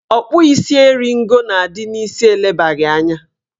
Ọkpụisieringo na-adị n'isi elebaghị anya